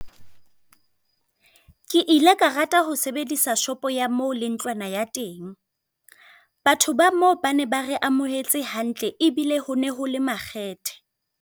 Ke ile ka rata ho sebedisa shopo ya moo le ntlwana ya teng. Batho ba moo ba ne ba re amohetse hantle ebile hone ho le makgethe.